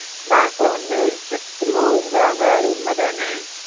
bank ல வந்து interest loan குரங்கை அது உண்மை தான